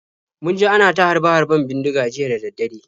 Mun ji ana ta harbe-harben bindiga jiya da dare.